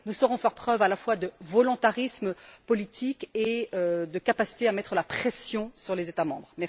Nous saurons faire preuve à la fois de volontarisme politique et de capacité à mettre la pression sur les États membres.